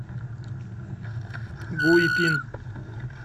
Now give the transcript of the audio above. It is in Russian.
гуйпин